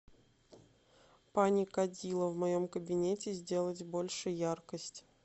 паникадило в моем кабинете сделать больше яркость